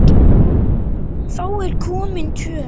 Þá er komin töf.